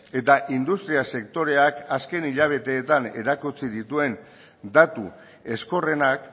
eta industria sektoreak azken hilabeteetan erakutsi dituen datu ezkorrenak